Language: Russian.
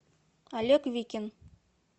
олег викин